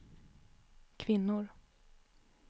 kvinnor